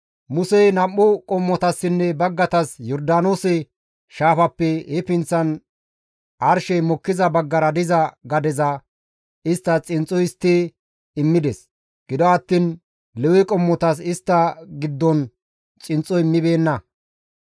Musey nam7u qommotassinne baggatas Yordaanoose shaafappe he pinththan arshey mokkiza baggara diza gadeza isttas xinxxo histti immides; gido attiin Lewe qommotas istta giddon xinxxo immibeenna.